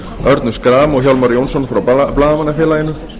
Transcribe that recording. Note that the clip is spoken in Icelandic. örnu schram og hjálmar jónsson frá blaðamannafélaginu